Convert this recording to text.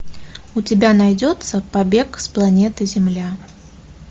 у тебя найдется побег с планеты земля